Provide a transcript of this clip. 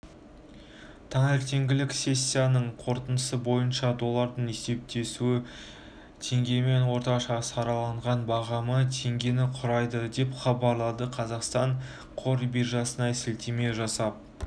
таңертеңгілік сессиясының қорытындысы бойынша долларының есептесуі теңгемен орташа сараланған бағамы теңгені құрайды деп хабарлайды қазақстан қор биржасына сілтеме жасап